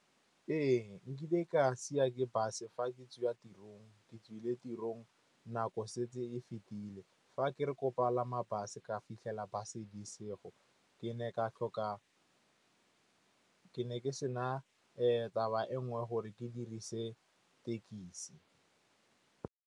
Ee, nkile ka siwa ke bus fa ke tswa tirong, ke tswile tirong nako e setse e fetile. Fa ke re ko palama bus-e, ka fitlhela bus-e e se yo. Ke ne ke se na taba e nngwe gore ke dirise tekisi.